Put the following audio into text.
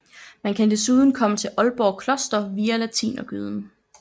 Man kan desuden komme til Aalborg Kloster via Latinergyden